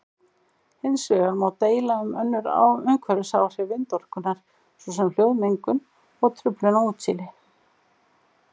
Hins vegar má deila um önnur umhverfisáhrif vindorkunnar svo sem hljóðmengun og truflun á útsýni.